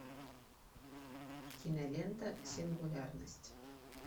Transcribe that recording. кинолента сингулярность